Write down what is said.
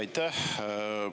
Aitäh!